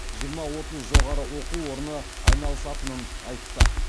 жиырма отыз жоғары оқу орны айналысатынын айтты